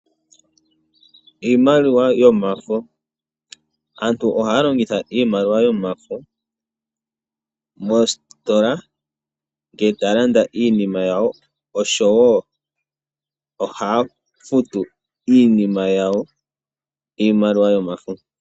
Aantu ohaya longitha iimaliwa yomafo moositola ngele taya landa iinima yawo moositola, osho wo ohaya futu iinima yawo niimaliwa yomafo.